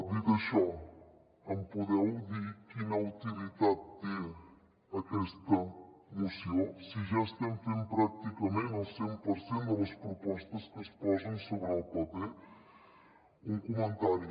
dit això em podeu dir quina utilitat té aquesta moció si ja estem fent pràcticament el cent per cent de les propostes que es posen sobre el paper un comentari